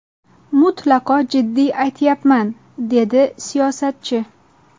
Mutlaqo jiddiy aytyapman”, deydi siyosatchi.